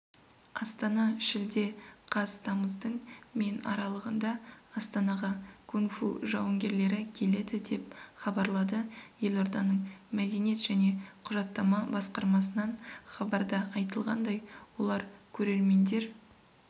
астана шілде қаз тамыздың мен аралығында астанаға кунг-фу жауынгерлері келеді деп хабарлады елорданың мәдениет және құжаттама басқармасынан хабарда айтылғандай олар көрермендер